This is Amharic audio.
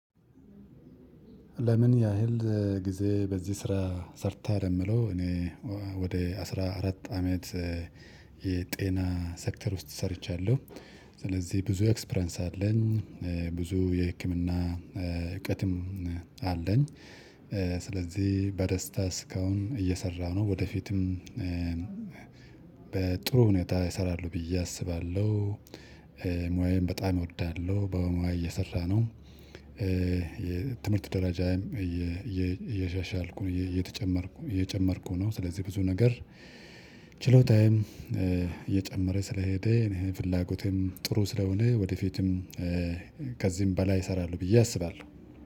ለምን? ያህል ጊዜ በዚህ ስራ ሰርተሀል የሚለው እኔ ወደ አስራ አራት አመት የጤና ሴክተር ውስጥ ሰርቻለሁ። ስለዚህ ብዙ ኤክስፔሪያንስ አለኝ። ብዙ የህክምና እውቀትም አለን። ስለዚህ በደስታ እስካሁን እየሰራሁ ነው። ወደፊትም በጥሩ ሁኔት እሰራለሁ ብዬ አስባለሁ። ሞያዬን በጣም እወዳለሁ በሞያዬ እየሰራሁ ነው። የትምህርት ደረጃም እያሻሻልኩ እየተጨመርኩ እየጨመርኩ ነው። ስለዚህ ብዙ ነገር ችሎታዬም እየጨመረ ስለሄደ እኔ ፍላጎቴም ጥሩ ስለሆነ ወደፊትም ከዚህም በላይ እሰራለሁ ብዬ አስባለሁ።